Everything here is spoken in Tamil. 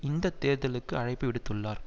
இந்த தேர்தலுக்கு அழைப்பு விடுத்துள்ளார்